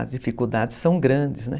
As dificuldades são grandes, né?